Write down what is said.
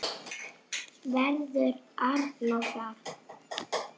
Verður Arnór þar?